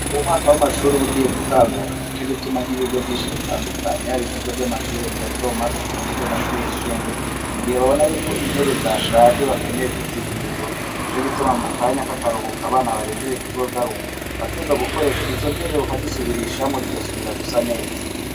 Mu gihe umwaka w'amashuri ugiye gutangura ico gituma nk'ibigo byinshi bitandukanya bir bigo by'amashuri ibatomatkani iby'amashuri yisumbuye mu gihe babona yuko intebe zashaje bakeneye kuzihindura ico gituma mu kanya k'akaruhuka abana barendiriye kuzogaruka bateza gukoresha izo ntebe kazisubirishamo zigasubira gusa neza.